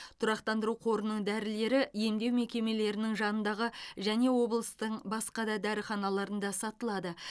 тұрақтандыру қорының дәрілері емдеу мекемелерінің жанындағы және облыстың басқа да дәріханаларында сатылады